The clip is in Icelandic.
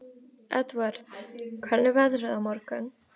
Edvard, hvernig er veðrið á morgun?